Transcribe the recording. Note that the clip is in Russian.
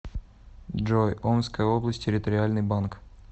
джой омская область территориальный банк